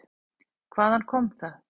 Hvaðan kom það?